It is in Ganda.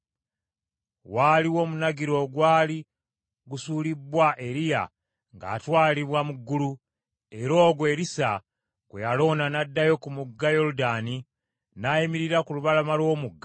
Waaliwo omunagiro ogwali gusuulibbwa Eriya ng’atwalibwa mu ggulu, era ogwo Erisa gwe yalonda n’addayo ku mugga Yoludaani n’ayimirira ku lubalama lw’omugga.